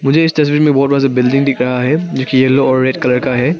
इस तस्वीर में बहोत बड़ा बिल्डिंग दिख रहा है जोकि येलो और रेड कलर का है।